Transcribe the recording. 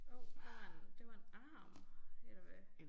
Hov der var en det var en arm eller hvad